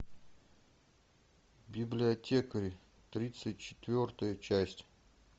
библиотекарь тридцать четвертая часть